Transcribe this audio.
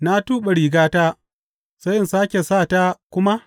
Na tuɓe rigata, sai in sāke sa ta kuma?